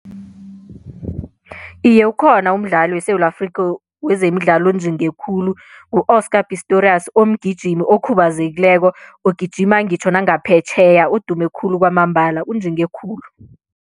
Iye, ukhona umdlali weSewula Afrikha wezemidlalo onjinge khulu ngu-Oscar Pistorius omgijimi okhubazekileko ogijima ngitjho nangaphetjheya odume khulu kwamambala unjinge khulu.